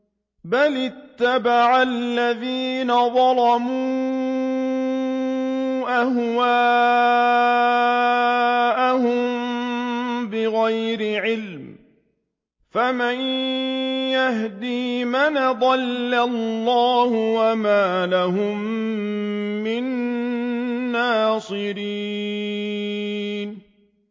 بَلِ اتَّبَعَ الَّذِينَ ظَلَمُوا أَهْوَاءَهُم بِغَيْرِ عِلْمٍ ۖ فَمَن يَهْدِي مَنْ أَضَلَّ اللَّهُ ۖ وَمَا لَهُم مِّن نَّاصِرِينَ